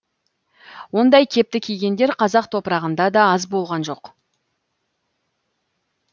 ондай кепті кигендер қазақ топырағында да аз болған жоқ